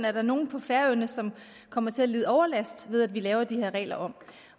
er nogen på færøerne som kommer til at lide overlast ved at vi laver de her regler om